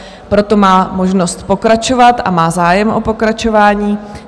Proto má možnost pokračovat, a má zájem o pokračování.